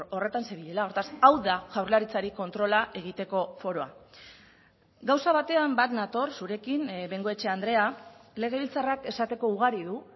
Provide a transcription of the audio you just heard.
horretan zebilela hortaz hau da jaurlaritzari kontrola egiteko foroa gauza batean bat nator zurekin bengoechea andrea legebiltzarrak esateko ugari du